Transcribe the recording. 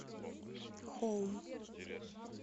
хоум